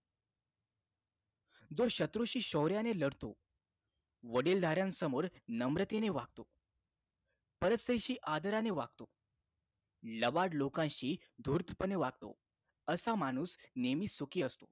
जो शत्रूशी शौर्याने लढतो वडीलधाऱ्यासमोर नम्रतेने वागतो परस्त्रीशी आदराने वागतो लबाड लोकांशी धूर्तपणे वागतो असा माणूस नेहमी सुखी असतो